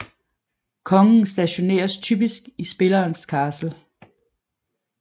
Kongen stationeres typisk i spillerens castle